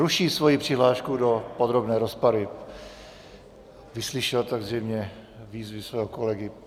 Ruší svoji přihlášku do podrobné rozpravy, vyslyšel tak zřejmě výzvy svého kolegy.